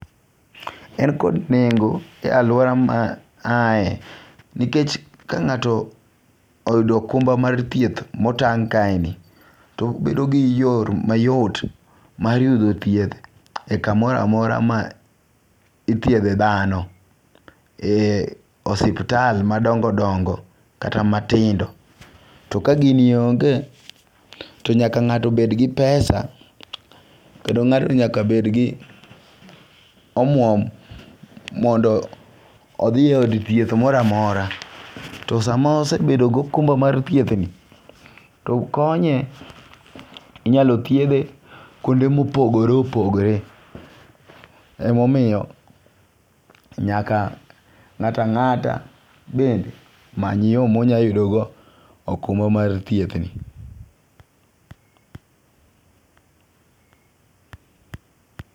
En kod nengo' e aluora ma ahaye, nikech ka ngato oyudo okumba mar thieth motang' kae ni to obedo gi yo mayot mar yudo thieth kamoro amora ma ithietho thano, ee osiptal madongo' dongo' kata matindo to kagini onge' to nyaka nga'to bed gi pesa, kendo nga'to nyaka bed gi omuom mondo othi od thieth mora mora, to sama osebet gi okumba mar thiethni to konye inyalo thiethe kuonde ma opogore opogore, ema omiyo nyaka nga'ta nga'ta bende omany yo ma onyalo yudogo okumba mar thiethni.